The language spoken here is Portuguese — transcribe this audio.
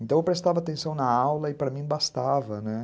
Então eu prestava atenção na aula e para mim bastava, né.